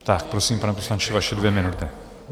Tak, prosím, pane poslanče, vaše dvě minuty.